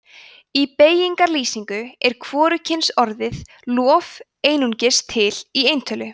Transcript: í beygingarlýsingu er hvorugkynsorðið lof einungis til í eintölu